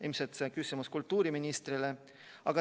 Ilmselt on see küsimus kultuuriministrile.